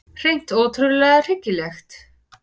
Hreint ótrúlega hryggilegt.